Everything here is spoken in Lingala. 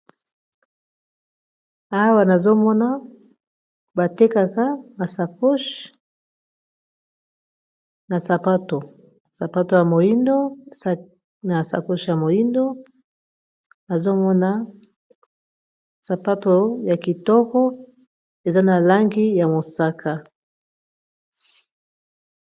awa nazomona batekaka masaohe asapaospatoo na masakohe ya moindo azomona sapato ya kitoko eza na langi ya mosaka